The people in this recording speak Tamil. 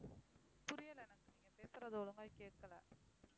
புரியல எனக்கு நீங்க பேசுறது ஒழுங்கா கேட்கல